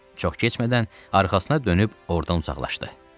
Çox keçmədən arxasına dönüb ordan uzaqlaşdı.